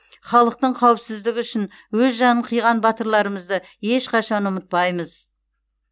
халықтың қауіпсіздігі үшін өз жанын қиған батырларымызды ешқашан ұмытпаймыз